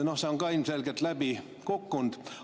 No see on ka ilmselgelt läbi kukkunud.